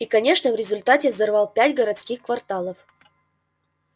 и конечно в результате взорвал пять городских кварталов